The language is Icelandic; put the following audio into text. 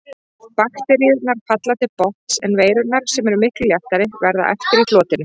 Bakteríurnar falla til botns en veirurnar, sem eru miklu léttari, verða eftir í flotinu.